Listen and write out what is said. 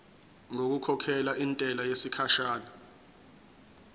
ngokukhokhela intela yesikhashana